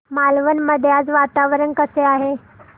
मालवण मध्ये आज वातावरण कसे आहे